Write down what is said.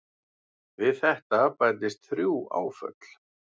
Við þetta bætist þrjú áföll.